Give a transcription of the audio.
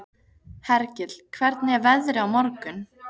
Hergill, hvernig er veðrið á morgun?